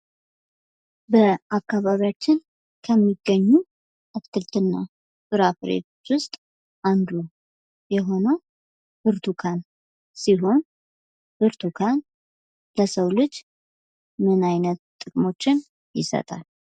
በአካባቢያችን ከሚገኙ አትክልት እና ፍራፍሬዎች ውስጥ አንዱ የሆነው ብርቱካን ሲሆን ብርቱካን ለሰው ልጅ ምን አይነት ጥቅሞችን ይሰጣል?